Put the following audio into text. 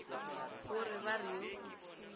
go re ba re yo